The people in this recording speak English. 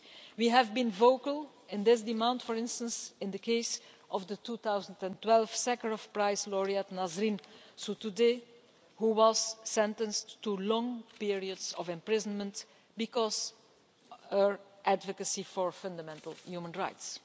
We have been vocal in this demand, for instance in the case of the 2012 Sakharov Prize laureate Nasrin Sotoudeh, who was sentenced to long periods of imprisonment because of her advocacy for fundamental human rights.